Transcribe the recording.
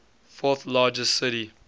fourth largest city